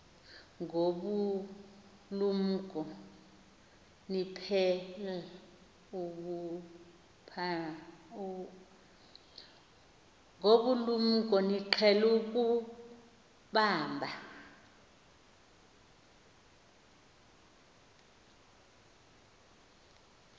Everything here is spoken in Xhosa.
ngobulumko niqhel ukubamb